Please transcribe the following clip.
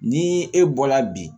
Ni e bɔla bi